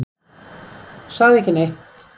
Sagði ekki neitt.